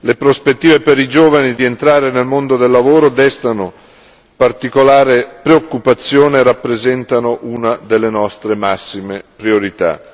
Le prospettive per i giovani di entrare nel mondo del lavoro destano particolare preoccupazione e rappresentano una delle nostre massime priorità.